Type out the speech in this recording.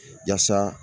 Yasa